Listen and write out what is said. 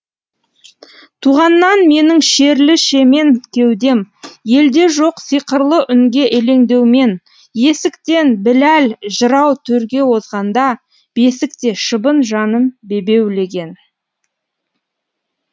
туғаннан менің шерлі шемен кеудем елде жоқ сиқырлы үнге елеңдеумен есіктен біләл жырау төрге озғанда бесікте шыбын жаным бебеулеген